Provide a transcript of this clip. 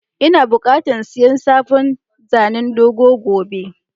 lna buƙatan siya sabon zanen godo gobe.